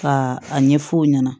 Ka a ɲɛfɔ o ɲɛna